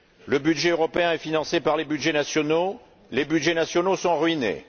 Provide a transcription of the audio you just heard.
Le budget européen est financé par les budgets nationaux, les budgets nationaux sont ruinés.